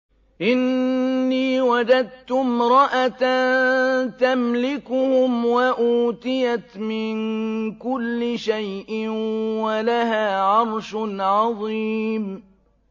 إِنِّي وَجَدتُّ امْرَأَةً تَمْلِكُهُمْ وَأُوتِيَتْ مِن كُلِّ شَيْءٍ وَلَهَا عَرْشٌ عَظِيمٌ